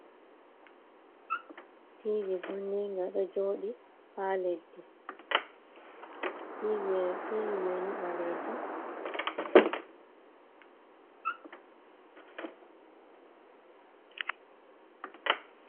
Tiivi vonniinga ɗo jooɗi haa leddi, Tiivi may ni ɓaleeji.